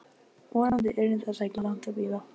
Vonandi yrði þess ekki langt að bíða.